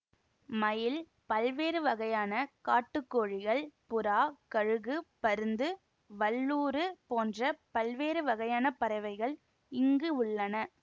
மயில் பல்வேறு வகையான காட்டுக்கோழிகள் புறா கழுகு பருந்து வல்லூறு போன்ற பல்வேறு வகையான பறவைகள் இங்கு உள்ளன